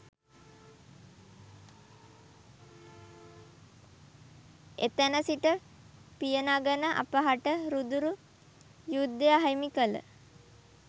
එතැන සිට පියනගන අපහට රුදුරු යුද්ධය අහිමි කළ